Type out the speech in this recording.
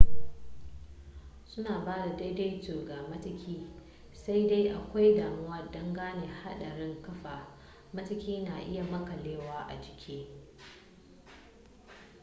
su na ba da daidaito ga matuki sai dai akwai damuwa dangane hadarin kafar matukin na iya makalewa a jiki